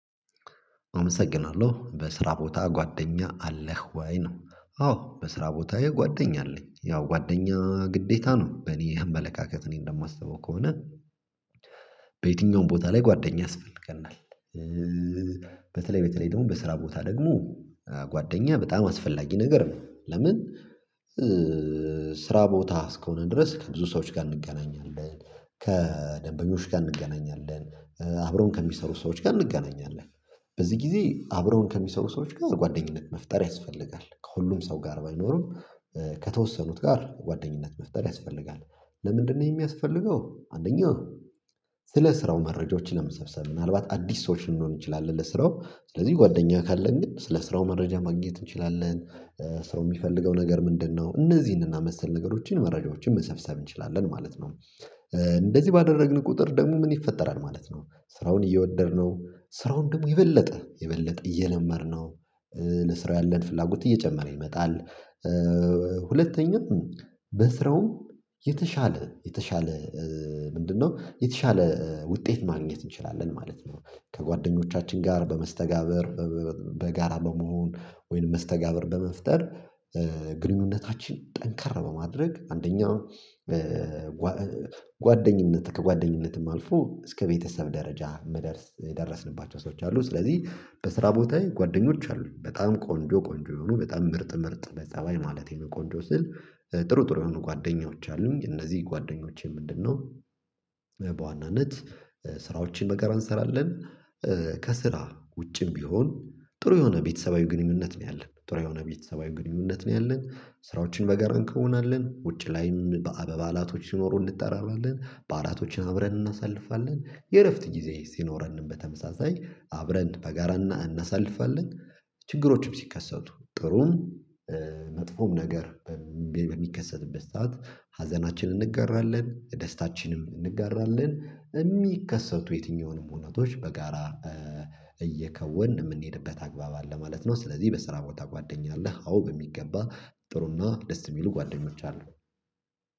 አመሰግናለሁ በስራ ቦታ ጓደኛ አለህ ወይ? ነው አዎ በስራ ቦታዬ ጓደኛ አለኝ ያው ጓደኛ ግዴታ ነው በእኔ አመለካከት እኔ እንደማስበው ከሆነ በየትኛውም ቦታ ላይ ጓደኛ ያስፈልገናል። በተለይ በተለይ ደግሞ በስራ ቦታ ደግሞ ጓደኛ በጣም አስፈላጊ ነገር ነው። ለምን? ስራ ቦታ እስከሆን ድረስ ከብዙ ሰዎች ጋር እንገናኛለን ከደንበኞች ጋር እንገናኛለን አብረውን ከሚሰሩ ሰዎች ጋር እንገናኛለን። በዚህ ጊዜ አብረውን ከሚሰሩ ሰዎች ጋር የጓደኝነት መፍጠር ያስፈልጋል። ከሁሉም ሰው ጋር ባይኖርም ከተወሰኑት ጋር ጓደኝነት መፍጠር ያስፈልጋል። ለምንድነው ይሄ የሚያስፈልገው? አንደኛው። ስለ ስራው መረጃዎችን ለምሰብሰብ ምናልባት አዲስ ሰዎች ልንሆን ይችላል ለስራው ስለዚህ ጓደኛዬ ካለን ግን ስለ ስራው መረጃ ማግኘት እንችላለን። ሰው የሚፈልገው ነገር ምንድነው? እነዚህን እና መሰል ነገሮችን መረጃዎችን መሰብሰብ እንችላለን ማለት ነው። እንደዚህ ባደረግን ቁጥር ደግሞ ምን ይፈጠራል ማለት ነው? ስራውን እየወደድነው ስራውን ደግሞ የበለጠ የበለጠ እየለመድነው። ለስራው ያለን ፍላጎት እየጨመረ ይመጣል። ሁለተኛ በስራውም የተሻለ የተሻለ ምንድነው? የተሻለ ውጤት ማግኘት እንችላለን ማለት ነው። ከጓደኞቻችን ጋር በመስተጋብር በጋራ በመሆን ወይንም መስተጋብር በመፍጠር ግንኙነታችን ጠንካራ በማድረግ አንደኛ። ጓደኝነት ከጓደኝነትም አልፎ እስከ ቤተሰብ ደረጃ የደረስንባቸው ሰዎች አሉ። ስለዚህ በስራ ቦታዬ ጓደኞች አሉ በጣም ቆንጆ ቆንጆ የሆኑ በጣም ምርጥ ምርጥ በጸባይ ማለቴ ነው። ቆንጆ ስል ጥሩ ጥሩ የሆኑ ጓደኞች አሉኝ። እነዚህ ጓደኞቼ ምንድነው? በዋናነት ስራዎችን በጋራ እንሰራለን። ከስራ ውጭም ቢሆን ጥሩ የሆነ ቤተሰባዊ ግንኙነት ነው ያለን ጥሩ የሆነ ቤተሰባዊ ግንኙነት ነው ያለን ስራዎችን በጋራ እንከወናለን ውጪ ላይም ባዓላቶች ሲኖሩ እንድትጠራለን ባዓላቶችን አብርን እናሳልፋለን የእረፍት ጊዜ የሲኖረን በተመሳሳይ አብረን በጋራ እናሳልፋለን። ችግሮችም ሲከሰቱ ጥሩም መጥፎም ነገር በሚከሰትበት ሰዓት ሀዘናችንን እንገራለን ደስታችንም እንገራለን የሚከሰቱ የትኛውንም ሁኔታዎች በጋራ እየከወን የምንሄድበት አግባብ አለ ማለት ነው። ስለዚህ በስራ ቦታ ጓደኛ አለ። አዎ በሚገባ ጥሩና ደስ የሚሉ ጓደኞች አሉ።